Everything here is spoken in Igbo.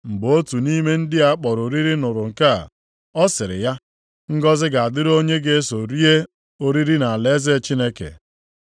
Mgbe otu nʼime ndị a kpọrọ oriri nụrụ nke a, ọ sịrị ya, “Ngọzị ga-adịrị onye ga-eso rie oriri nʼalaeze Chineke.”